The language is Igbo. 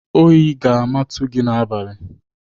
Oyi ga-amatu gị n'abalị!